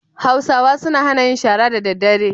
Hausawa suna hana yin shara da daddare.